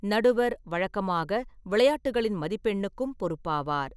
நடுவர் வழக்கமாக விளையாட்டுகளின் மதிப்பெண்ணுக்கும் பொறுப்பாவார்.